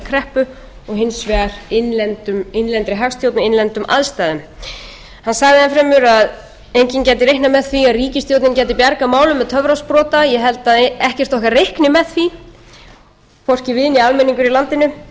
sagði enn fremur að enginn gæti reiknað með því að ríkisstjórnin gæti bjargað málum með töfrasprota ég held að ekkert okkar reikni með því hvorki við né almenningur í landinu en hins vegar tel ég